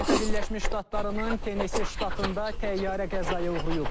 Amerika Birləşmiş Ştatlarının Tenesisi ştatında təyyarə qəzaya uğrayıb.